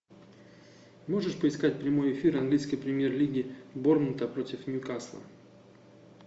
можешь поискать прямой эфир английской премьер лиги борнмута против ньюкасла